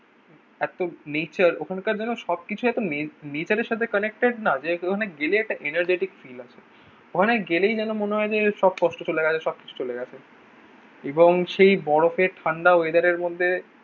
এত নেচার ওখানকার যেন সব কিছু এত নে নেচারের সাথে কানেক্টেড না? যে ওখানে গেলে একটা energetic feel আসে। ওখানে গেলেই যেন মনে হয় যে সব কষ্ট চলে গেছে সবকিছু চলে গেছে। এবং সেই বরফের ঠান্ডা ওয়েদারের মধ্যে